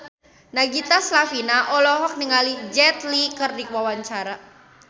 Nagita Slavina olohok ningali Jet Li keur diwawancara